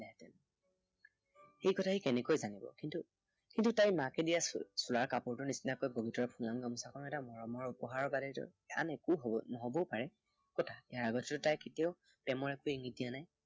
সেই কথা সি কেনেকৈ জানিব? কিন্তু, কিন্তু তাইৰ মাকে দিয়া চোচোলাৰ কাপোৰটোৰ নিচিনাকৈ বগীতৰাৰ ফুলাম গামোচাখনো মৰমৰ উপহাৰৰ বাদেতো আন একো হব, নহবও পাৰে। কতা ইয়াৰ আগতেটো তাই কেতিয়াও প্ৰেমৰ এককো ইংগিত দিয়া নাই।